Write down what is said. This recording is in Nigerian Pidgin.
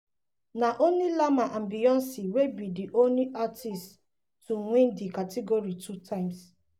na only lamar and beyoncé wey be di only artists to win di category two times.